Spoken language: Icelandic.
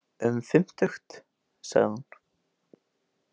Um fimmtugt, sagði hún.